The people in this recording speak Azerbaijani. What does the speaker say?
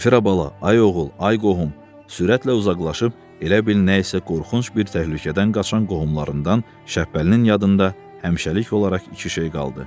Zenfira bala, ay oğul, ay qohum, sürətlə uzaqlaşıb elə bil nə isə qorxunc bir təhlükədən qaçan qohumlarından Şəppəlinin yadında həmişəlik olaraq iki şey qaldı.